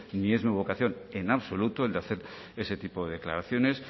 ni es mi vocación en absoluto el de hacer ese tipo de declaraciones